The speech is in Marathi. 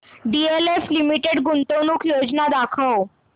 डीएलएफ लिमिटेड गुंतवणूक योजना दाखव